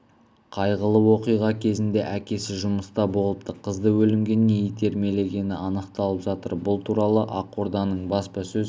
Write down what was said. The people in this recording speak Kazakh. қайғылы оқиға кезінде әкесі жұмыста болыпты қызды өлімге не итермелегені анықталып жатыр бұл туралы ақорданың баспасөз